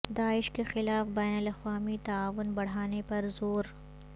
داعش کے خلاف بین الاقوامی تعاون بڑھانے پر زور